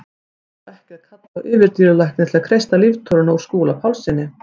Nú þarf ekki að kalla á yfirdýralækni til að kreista líftóruna úr Skúla Pálssyni.